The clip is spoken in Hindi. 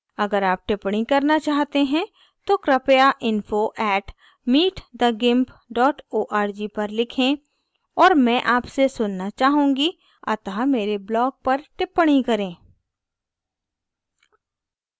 अगर आप टिप्पणी करना चाहते हैं तो कृपया info @meetthegimp org पर लिखें और मैं आपसे सुनना चाहूँगी अतः मेरे blog पर टिप्पणी करें